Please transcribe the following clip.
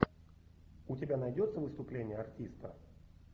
у тебя найдется выступление артиста